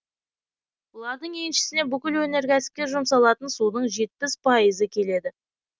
бұлардың еншісіне бүкіл өнеркәсіпке жұмсалатын судың жетпіс пайызы келеді